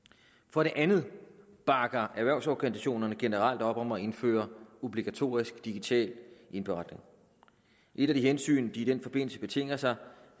for det andet bakker erhvervsorganisationerne generelt op om at indføre obligatorisk digital indberetning et af de hensyn de i den forbindelse betinger sig